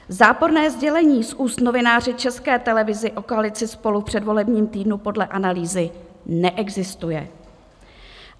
Záporné sdělení z úst novináře České televize o koalici SPOLU v předvolebním týdnu podle analýzy neexistuje.